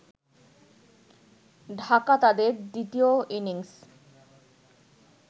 ঢাকা তাদের দ্বিতীয় ইনিংস